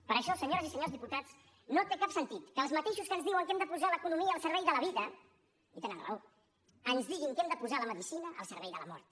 per això senyores i senyors diputats no té cap sentit que els mateixos que ens diuen que hem de posar l’economia al servei de la vida i tenen raó ens diguin que hem de posar la medicina al servei de la mort